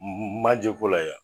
Maje ko la yan